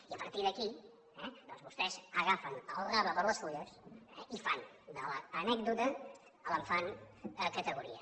i a partir d’aquí eh doncs vostès agafen el rave per les fulles i fan de l’anècdota categoria